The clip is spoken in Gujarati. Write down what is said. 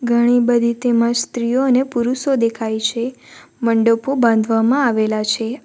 ઘણી બધી તેમાં સ્ત્રીઓ અને પુરુષો દેખાય છે મંડપો બાંધવામાં આવેલા છે.